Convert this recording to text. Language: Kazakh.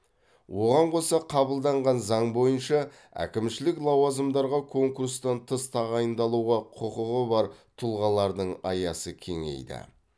оған қоса қабылданған заң бойынша әкімшілік лауазымдарға конкурстан тыс тағайындалуға құқығы бар тұлғалардың аясы кеңейді